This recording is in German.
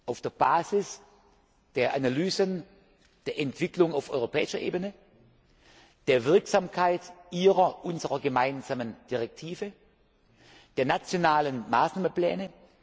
auf der Basis der Analysen der Entwicklung auf europäischer Ebene, der Wirksamkeit Ihrer, unserer gemeinsamen Richtlinie, der nationalen Maßnahmenpläne.